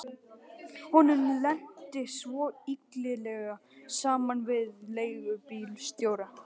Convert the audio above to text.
Honum lenti svona illilega saman við leigubílstjóra.